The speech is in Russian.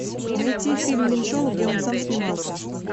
найти фильм меньшова где он сам снимался